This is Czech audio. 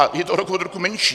A je to rok od roku menší.